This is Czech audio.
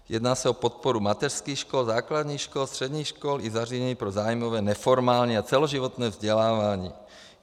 Jedná se o podporu mateřských škol, základních škol, středních škol i zařízení pro zájmové neformální a celoživotní vzdělávání.